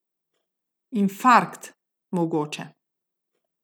Infarkt, mogoče.